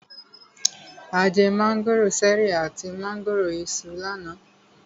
A jẹ mángòrò ṣẹ̀rí àti mángòrò Iṣu lánàá.